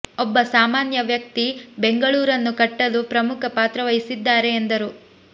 ಒಬ್ಬ ಸಾಮಾನ್ಯ ವ್ಯಕ್ತಿ ಬೆಂಗಳೂರನ್ನು ಕಟ್ಟಲು ಪ್ರಮುಖ ಪಾತ್ರ ವಹಿಸಿದ್ದಾರೆ ಎಂದರು